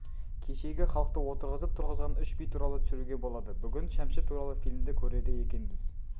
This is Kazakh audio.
кешегі халықты отырғызып тұрғызған үш би туралы түсіруге болады бүгін шәмші туралы фильмді көреді екенбіз